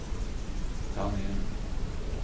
Tangen